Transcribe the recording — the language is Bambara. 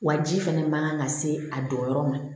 Waji fana man kan ka se a donyɔrɔ ma